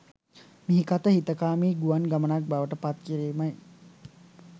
මිහිකත හිතකාමී ගුවන් ගමනක් බවට පත් කිරීමයි.